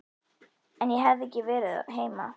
Ef ég hefði ekki verið heima.